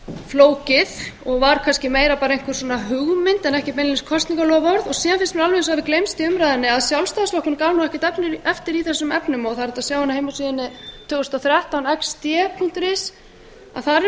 flókið og var kannski meira bara einhver hugmynd en ekki beinlínis kosningaloforð síðan finnst mér eins og alveg hafi gleymst í umræðunni að sjálfstæðisflokkurinn gaf ekkert eftir í þessum efnum það er hægt að sjá á heimasíðunni tvö þúsund og þrettán punktur x d punktur is að